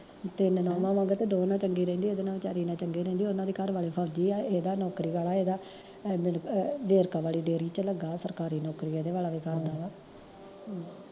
ਤਿੰਨ ਨਉਆਂ ਨੇ ਤੇ ਦੋ ਨਾਲ ਚੰਗੀ ਰਹਿੰਦੀ ਆ, ਏਦੇ ਨਾਲ ਵਿਚਾਰੀ ਨਾਲ ਚੰਗੀ ਰਹਿੰਦੀ ਆ, ਓਨਾ ਦੇ ਘਰ ਵਾਲੇ ਫੌਜੀ ਆ, ਏਦਾ ਨੌਕਰੀ ਵਾਲਾ ਆ, ਏਦਾ ਵੇਰਕਾ ਵਾਲੀ ਡੇਰੀ ਚ ਲੱਗਾ ਆ ਸਰਕਾਰੀ ਨੌਕਰੀ ਏਦੇ ਵਾਲਾ ਵੀ ਕਰਦਾ ਵਾ